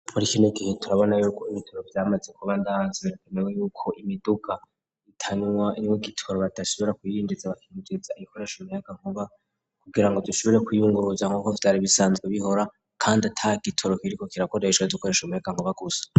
Muri kinigihe turabona yuko ibitoro vyamaze kuba ndahanze berekanewe yuko imiduka itanwa nwe gitoro batashibura kwiyinjiza bakinzuza igikoresha muyaka nkuba kugira ngo dushubire kwiyunguruja nk'uko vyari bisanzwe bihora, kandi atakigitoro kiriko kirakoreshwa dukoresha muyaka nkubagusa.